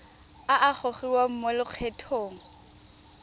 a a gogiwang mo lokgethong